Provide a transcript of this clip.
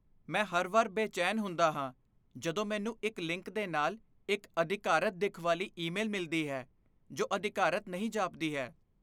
ਮੈਂ ਹਰ ਵਾਰ ਬੇਚੈਨ ਹੁੰਦਾ ਹਾਂ ਜਦੋਂ ਮੈਨੂੰ ਇੱਕ ਲਿੰਕ ਦੇ ਨਾਲ ਇੱਕ ਅਧਿਕਾਰਤ ਦਿੱਖ ਵਾਲੀ ਈਮੇਲ ਮਿਲਦੀ ਹੈ ਜੋ ਅਧਿਕਾਰਤ ਨਹੀਂ ਜਾਪਦੀ ਹੈ।